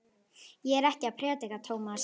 Ég er ekkert að predika, Tómas.